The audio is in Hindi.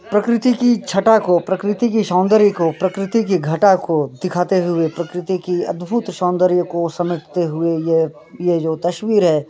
प्रकृति की छठा को प्रकृति की सौंदर्य को प्रकृति की घटा को दिखाते हुए प्रकृति की अद्भुत सौंदर्य को समेटते हुए यह यह जो तस्वीर है।